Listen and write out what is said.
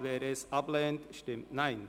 wer dieses ablehnt, stimmt Nein.